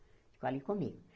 Ficou ali comigo.